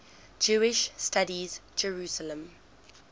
jewish studies jerusalem